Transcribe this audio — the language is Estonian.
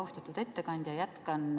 Austatud ettekandja!